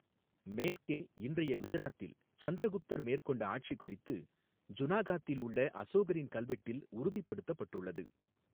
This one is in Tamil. மேற்கே, இன்றைய குஜராத்தில் சந்திரகுப்தர் மேற்கொண்ட ஆட்சி குறித்து ஜுனாகாத்தில் உள்ள அசோகரின் கல்வெட்டில் உறுதிப்படுத்தப்பட்டுள்ளது.